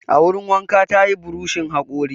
A wurin wanka ta yi burushin haƙori.